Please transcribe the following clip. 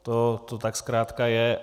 To tak zkrátka je.